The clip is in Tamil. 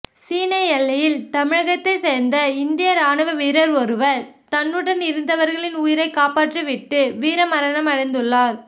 சீன எல்லையில் தமிழகத்தை சேர்ந்த இந்திய ராணுவ வீரர் ஒருவர் தன்னுடன் இருந்தவர்களின் உயிரை காப்பாற்றிவிட்டு வீரமரணம் அடைந்துள்ளார்